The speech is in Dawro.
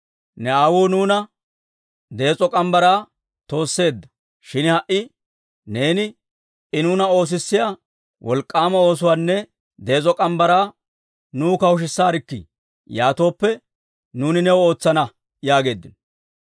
«Ne aawuu nuuna dees'o morgge mitsaa toosseedda; shin ha"i neeni I nuuna oosissiyaa wolk'k'aama oosuwaanne dees'o morgge mitsaa nuw kawushisaarkkii. Yaatooppe, nuuni new ootsana» yaageeddino.